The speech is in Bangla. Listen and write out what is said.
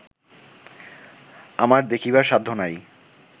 আমার দেখিবার সাধ্য নাই